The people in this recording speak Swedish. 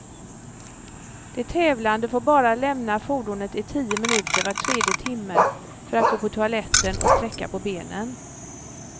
De tävlande får bara lämna fordonet i tio minuter var tredje timme, för att gå på toaletten och sträcka på benen.